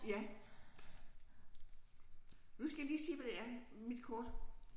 Ja nu skal jeg lige se hvad det er mit kort